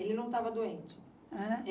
Ele não estava doente? Ãn?